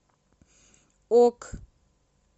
ок